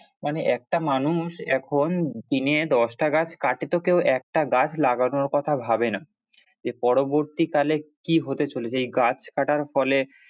মানে একটা মানুষ এখন দিনে দশটা গাছ কাটে তো কেউ একটা গাছ লাগানোর কথা ভাবে না, এর পরবর্তী কালে কি হতে চলেছে এই গাছ কাটার ফলে,